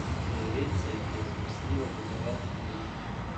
Devet se jih je zvrstilo v devetih letih.